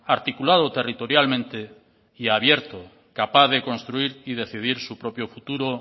articulado territorialmente y abierto capaz de construir y decidir su propio futuro